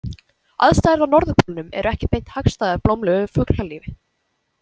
Aðstæður á norðurpólnum eru ekki beint hagstæðar blómlegu fuglalífi.